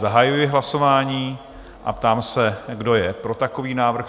Zahajuji hlasování a ptám se, kdo je pro takový návrh?